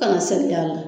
Kana segin y'a la